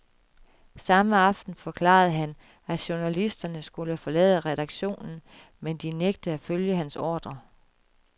Samme aften forklarede han, at journalisterne skulle forlade redaktionen, men de nægtede at følge hans ordrer.